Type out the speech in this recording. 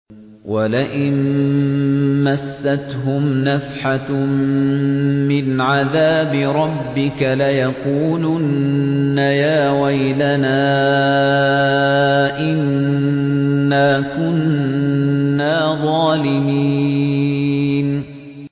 وَلَئِن مَّسَّتْهُمْ نَفْحَةٌ مِّنْ عَذَابِ رَبِّكَ لَيَقُولُنَّ يَا وَيْلَنَا إِنَّا كُنَّا ظَالِمِينَ